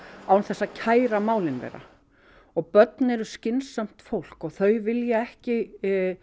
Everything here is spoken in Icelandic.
án þess að kæra málin þeirra og börn eru skynsamt fólk og þau vilja ekki